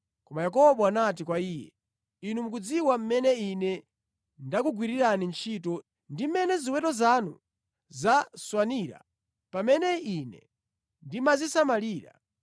Koma Yakobo anati kwa iye, “Inu mukudziwa mmene ine ndakugwirirani ntchito ndi mmene ziweto zanu zaswanira pamene ine ndimazisamalira.